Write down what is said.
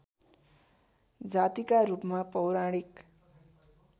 जातिका रूपमा पौराणिक